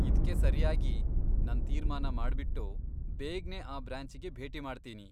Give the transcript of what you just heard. ಇದ್ಕೆ ಸರಿಯಾಗಿ ನನ್ ತೀರ್ಮಾನ ಮಾಡ್ಬಿಟ್ಟು, ಬೇಗ್ನೇ ಆ ಬ್ರಾಂಚಿಗೆ ಭೇಟಿ ಮಾಡ್ತೀನಿ.